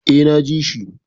Eh, na ji shi